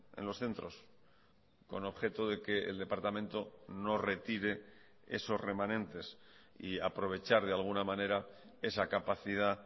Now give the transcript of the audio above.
en los centros con objeto de que el departamento no retire esos remanentes y aprovechar de alguna manera esa capacidad